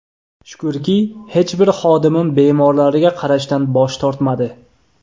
Shukrki, hech bir xodimim bemorlarga qarashdan bosh tortmadi.